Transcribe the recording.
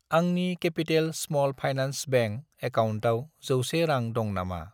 आंनि capital small finance bank एकाउन्टआव 100 रां दं नामा?